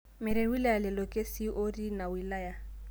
Meret wilaya lelo kesii ooti ina wilaya